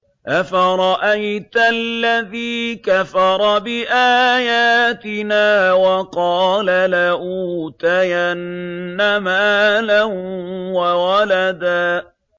أَفَرَأَيْتَ الَّذِي كَفَرَ بِآيَاتِنَا وَقَالَ لَأُوتَيَنَّ مَالًا وَوَلَدًا